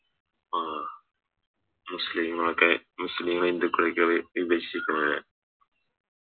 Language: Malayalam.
ആഹ് മുസ്ലിം ഒക്കെ മുസ്ലിം ഹിന്ദുക്കളൊക്കെ വി വിഭചിക്കുന്നതല്ലേ